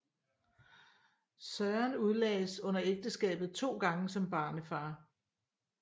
Søren udlagdes under ægteskabet to gange som barnefar